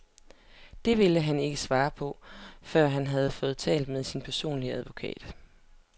Det ville han ikke svare på, før han havde fået talt med sin personlige advokat.